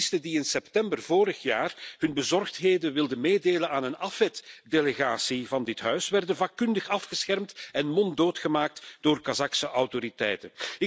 Activisten die in september vorig jaar hun bezorgdheden wilden meedelen aan een AFET delegatie van dit Huis, werden vakkundig afgeschermd en monddood gemaakt door Kazachse autoriteiten.